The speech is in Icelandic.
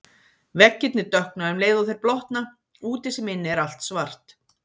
Veggirnir dökkna um leið og þeir blotna, úti sem inni er allt svart.